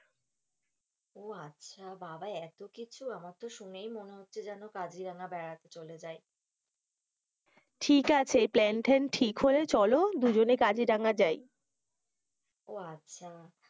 ও আচ্ছা বাবা এতো কিছু, আমার তো শুনেই মনে হচ্ছে যেন কাজিরাঙা বেড়াতে চলে যাই, ঠিক যাচ্ছে প্ল্যান-ট্যান ঠিক হলে চলো দুজনে কাজিরাঙা যাই, ও আচ্ছা,